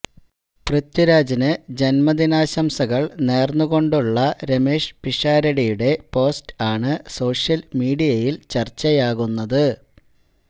പൃഥ്വിരാജിന് ജന്മദിനാശംകള് നേര്ന്നു കൊണ്ടുള്ള രമേഷ് പിഷാരടിയുടെ പോസ്റ്റ് ആണ് സോഷ്യല് മീഡിയയില് ചര്ച്ചയാകുന്നത്